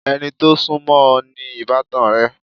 Ẹni tó sún mọ́ o ni ìbátan rẹ.